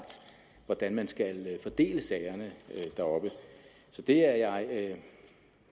hvordan man skal fordele sagerne deroppe så det er jeg